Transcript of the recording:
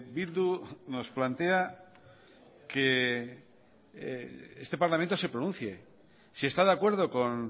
bildu nos plantea que este parlamento se pronuncie si está de acuerdo con